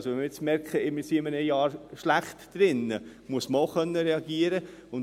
wenn wir also merken, dass wir in einem Jahr schlecht drin sind, muss man auch reagieren können.